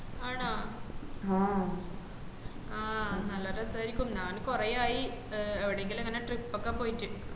ആണോ ആഹ് നല്ല രസയ്ക്കും നാൻ കൊറേ ആയി അഹ് എവിടെങ്കിലും അങ്ങനെ trip ഒക്കെ പോയിട്ട്